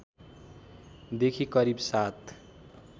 देखि करिब ७